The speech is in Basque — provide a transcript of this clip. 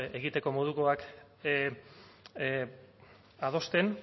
egiteko modukoak adosten